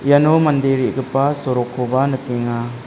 iano mande re·gipa sorokkoba nikenga.